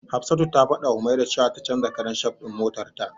Hafsatu ta fadawa Humaira cewa ta canja karan shaf din motarta.